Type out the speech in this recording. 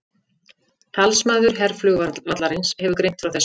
Talsmaður herflugvallarins hefur greint frá þessu